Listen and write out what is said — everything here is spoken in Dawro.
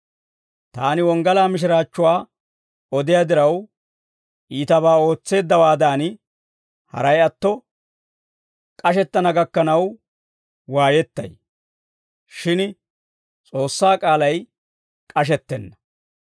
Taani wonggalaa mishiraachchuwaa odiyaa diraw, iitabaa ootseeddawaadan, haray atto k'ashettana gakkanaw waayettay. Shin S'oossaa k'aalay k'ashettenna.